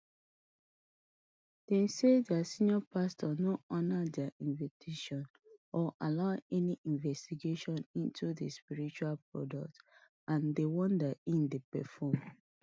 dem say di senior pastor no honour dia invitation or allow any investigation into im spiritual products and di wonder e dey perform